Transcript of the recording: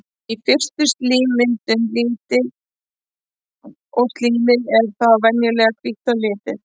Í fyrstu er slímmyndun lítil og slímið er þá venjulega hvítt að lit.